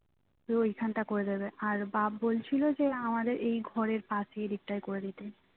ওইখানটা করে দেবে আর বাপ বলছিল যে আমাদের এই ঘরের পাশে এই দিকটা করে দিতে